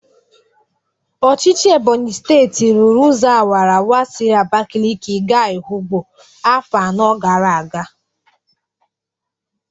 Ọchịchị Ebonyi steti rụrụ ụzọ awaraawara siri Abakaliki ga Ehụgbọ afọ anọ gara aga.